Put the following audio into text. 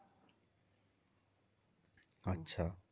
আচ্ছা